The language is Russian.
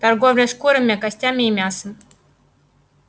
торговля шкурами костями и мясом